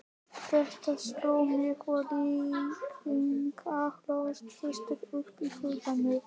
Þetta sló mig, og líkingar hlóðust upp í huganum.